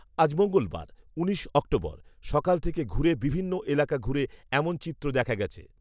আজ মঙ্গলবার, উনিশ অক্টোবর, সকাল থেকে ঘুরে বিভিন্ন এলাকা ঘুরে এমন চিত্র দেখা গেছে